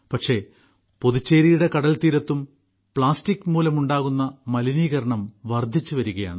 പക്ഷേ പുതുച്ചേരിയുടെ കടൽത്തീരത്തും പ്ലാസ്റ്റിക് മൂലമുണ്ടാകുന്ന മലിനീകരണം വർധിച്ചു വരികയാണ്